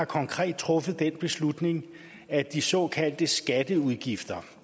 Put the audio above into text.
konkret har truffet den beslutning at de såkaldte skatteudgifter